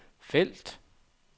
felt